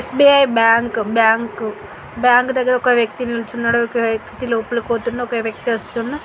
SBI bank bank bank దగ్గర ఒక వ్యక్తి నిల్చున్నాడు ఒక వ్యక్తి లోపలికి పోతున్నడు ఒక వ్యక్తి వస్తున్నాడు.